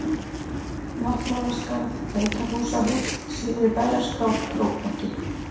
Náttmálaskarð, Beitarhúsahóll, Syðri-Bæjarskál, Krókbakki